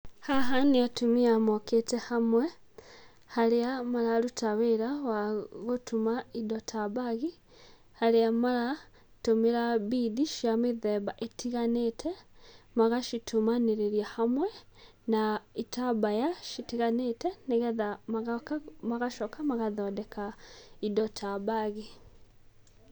Haha nĩ atumia mokĩte hamwe harĩa mararuta wĩra wa gũtuma indo ta mbagi. Harĩa maratũmĩra beads cia mĩthemba ĩtiganĩte. Magacitumanĩrĩria hamwe na itambaya citiganĩte, nĩgetha magacoka magathondeka indo ta mbagi.